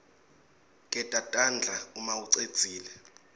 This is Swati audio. geza tandla umaucedzile